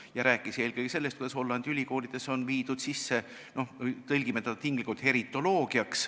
Ta rääkis eelkõige sellest, kuidas Hollandi ülikoolides on viidud sisse heritoloogia, tõlgime seda tinglikult nii.